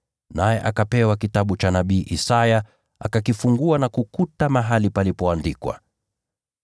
naye akapewa kitabu cha nabii Isaya, akakifungua na kukuta mahali palipoandikwa: